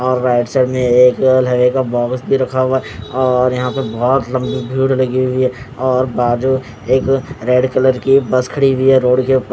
और right side में एक बॉक्स भी रखा हुआ है और यहाँ पे बोहोत लम्बी भीड़ लगी हुयी है और बाजू एक रेड कलर की बस खड़ी हुयी है रोड के ऊपर--